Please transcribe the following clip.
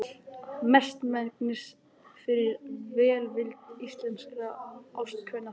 Mestmegnis fyrir velvild íslenskra ástkvenna þeirra.